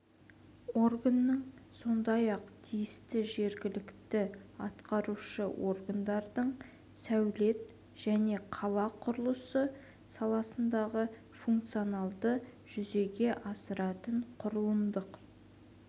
органының сондай-ақ тиісті жергілікті атқарушы органдардың сәулет және қала құрылысы саласындағы функцияларды жүзеге асыратын құрылымдық